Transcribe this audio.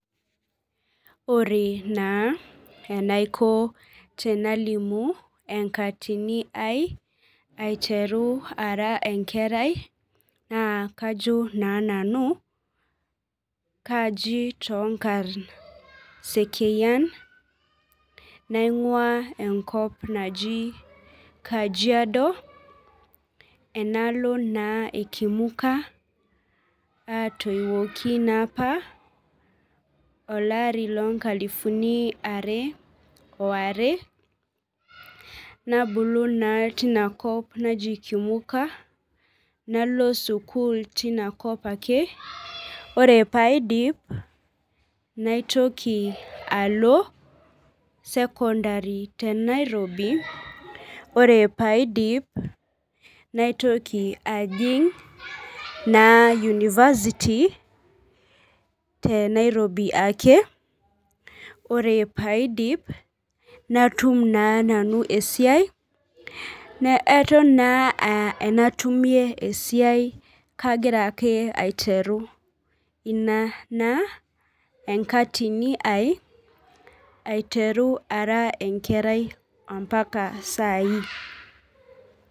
Ore naa enaiko tenalimu enaiko tenalimu enkatini ai aiteru ara enkerai naa kajo naa nanu kaji toonkarn kaji sekeyian , naingwaa enkop naji ekajiado enaalo naa ekimuka , atoiwuoki naapa olari loonkalifuni are oare , nabulu naa tinakop naji kimuka , nalo sukuul tinakop ake , ore paaidip naitoki alo secondary tenairobi , ore paidip naitoki ajing naa university tenairobi ake , ore paidip natum naa nanu esiai naa eton naa ake aa enatumie esiai kagira ake aiteru ina naa enkatini ai aiteru ara enkerai ampaka sai.